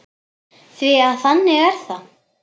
Því að þannig er það!